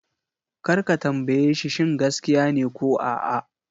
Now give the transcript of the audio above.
Kar ka tambaye shi shin gaskiya ne ko a'a!